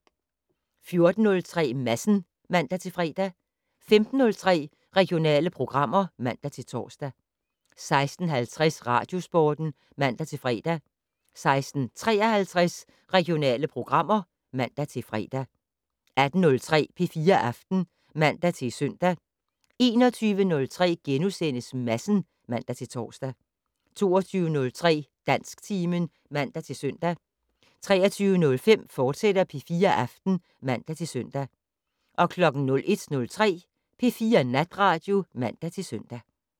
14:03: Madsen (man-fre) 15:03: Regionale programmer (man-tor) 16:50: Radiosporten (man-fre) 16:53: Regionale programmer (man-fre) 18:03: P4 Aften (man-søn) 21:03: Madsen *(man-tor) 22:03: Dansktimen (man-søn) 23:05: P4 Aften, fortsat (man-søn) 01:03: P4 Natradio (man-søn)